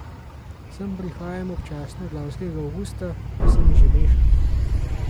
Sem prihajam občasno od lanskega avgusta, pa se mi že meša.